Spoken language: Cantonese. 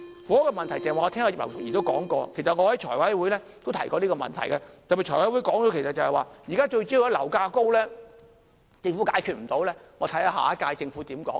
房屋問題我剛才聽到葉劉淑儀議員的發言，其實我在財委會都提過這個問題，我在特別財委會上說，現在樓價高政府解決不到，留待下一屆政府如何處理。